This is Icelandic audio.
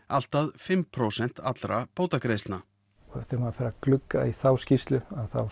allt að fimm prósent allra bótagreiðslna þegar maður fer að glugga í þá skýrslu